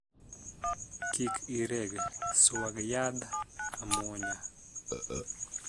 Kik ireg (swag) yadh amuonya.